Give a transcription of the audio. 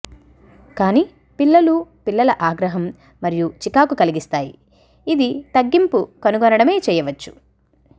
కానీ పిల్లలు పిల్లల ఆగ్రహం మరియు చికాకు కలిగిస్తాయి ఇది తగ్గింపు కనుగొనడమే చేయవచ్చు